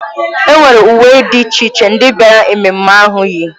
E nwere uwe dị iche iche ndị bịara ememme ahụ yi.